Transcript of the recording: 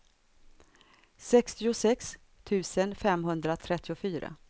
sextiosex tusen femhundratrettiofyra